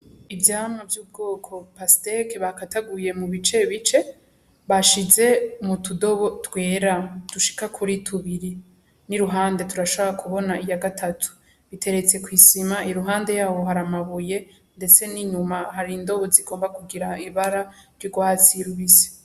Ivyamwa vy'ubwoko pasiteke bakataguye mu bice bice bashize mu tudobo twera dushika kuri tubiri, n'iruhande turashobora kubona iya gatatu, iteretse kw'isima iruhande yaho hari amabuye, ndetse n'inyuma hari indobo zigomba kugira ibara ry'ugwatsi rubisi.